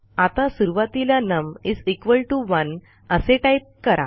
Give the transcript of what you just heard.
आता सुरूवातीला नम 1 असे टाईप करा